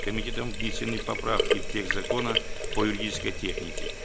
комитетом внесены поправки в текст закона по юридической технике